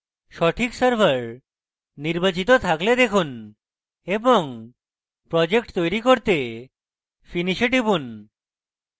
সঠিক server নির্বাচিত থাকলে দেখুন এবং project করতে তৈরী করতে finish এ টিপুন